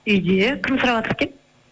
үйде кім сұраватыр екен